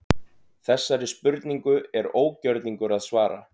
Þessari spurningu er ógjörningur að svara.